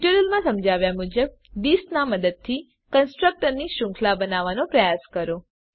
ટ્યુટોરીયલમાં સમજાવ્યાં મુજબ થિસ નાં મદદથી કન્સ્ટ્રકટર ની શ્રુંખલા બનાવવાનો પ્રયાસ કરો